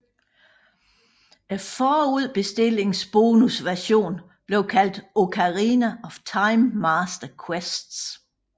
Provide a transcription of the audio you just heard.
Forudbestillingsbonusversionen blev kaldt Ocarina of Time Master Quest